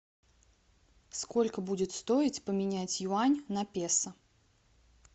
сколько будет стоить поменять юань на песо